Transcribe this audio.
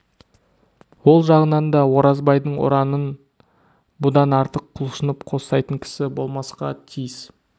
ол жағынан да оразбайдың ұранын бұдан артық құлшынып қостайтын кісі болмасқа тиіс